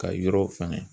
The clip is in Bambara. Ka yɔrɔw fɛnɛ